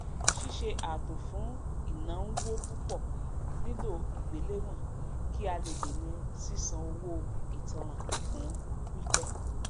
síṣe ààtò fún ìnánwó púpọ nílò ìgbéléwọn kí a lè dẹna sísan owó ìtanràn fún pípẹ